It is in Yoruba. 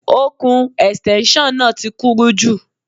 Okùn Ẹ̀stẹ́nṣọ̀n náà ti kúrú jù.